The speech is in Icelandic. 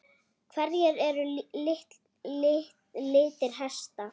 Hverjir eru litir hesta?